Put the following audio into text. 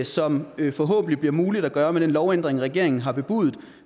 som det forhåbentlig bliver muligt at gøre med den lovændring regeringen har bebudet